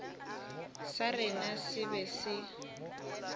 sa rena se be se